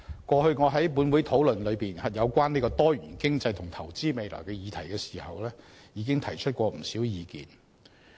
過去我在本會討論有關多元經濟和投資未來的議題時，已提出不少意見。